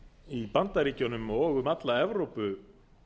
í bandaríkjunum og um alla evrópu